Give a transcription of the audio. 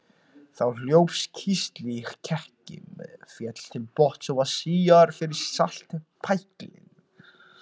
Þá hljóp kísillinn í kekki, féll til botns og var síaður frá saltpæklinum.